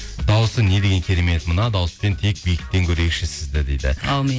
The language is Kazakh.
дауысы не деген керемет мына дауыспен тек биіктен көрейікші сізді дейді әумин